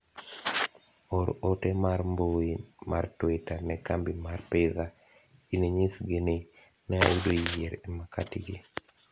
or ote mar mbui mar twita ne kambi mar pizza in inyisgi ni ne ayudo yier e makati gi